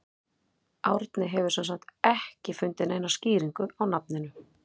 Árni hefur sem sagt ekki fundið neina skýringu á nafninu.